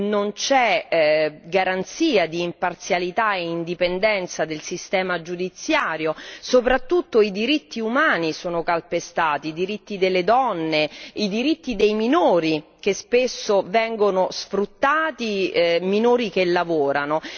non c'è garanzia di imparzialità e indipendenza del sistema giudiziario, soprattutto i diritti umani sono calpestati, i diritti delle donne, i diritti dei minori che spesso vengono sfruttati, minori che lavorano.